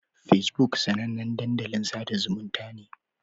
Fesbuk sanannen dandalin sada zumunta ne.